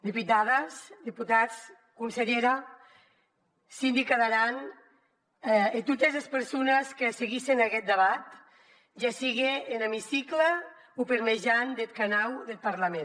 diputades diputats consellera síndica d’aran e totes es persones que seguissen aguest debat ja sigue en emicicle o per mejan deth canau deth parlament